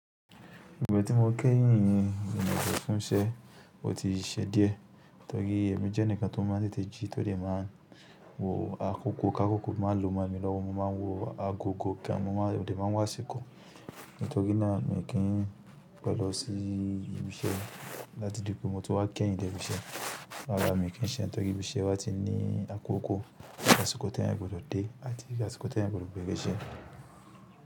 Igba tí mo kẹ́yin yín ìlànà fún iṣẹ́ o ti ṣe díẹ̀. Tori èmi jẹ́ enikan tó máa ń tètè jí, tó dé máa n wo àkókò kí àkókò máa lò mo mi lọ́wọ́, mo máa n wo agogo kí mo máa, mò de máa n wo asiko. Ní toriì náà, mii kì n pẹ̀ lọ sí ibi iṣẹ́ láti dìpo mó tí wá kẹ̀yin dè ibi iṣẹ́. Rárá mi kì í ṣe ẹ̀, torí ibi iṣẹ́ wa á ti ní àkókò, àsìkò t'èyàn gbudọ̀ dé àti àsìkò t'èyàn gbudọ̀ bẹ̀rẹ̀ iṣẹ́.